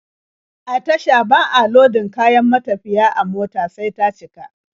A tasha ba a lodin kayan matafiya a mota sai ta cika.